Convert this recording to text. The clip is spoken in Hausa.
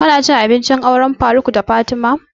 Ka na cin abinci ne a auren faruk da fatima?